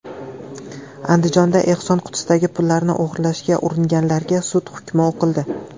Andijonda ehson qutisidagi pullarni o‘g‘irlashga uringanlarga sud hukmi o‘qildi.